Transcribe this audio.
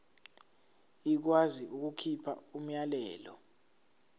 ikwazi ukukhipha umyalelo